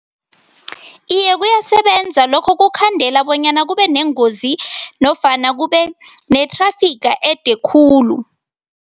Iye, kuyasebenza. Lokho kukhandela bonyana kube nengozi nofana kube ne-thrafiga ede khulu.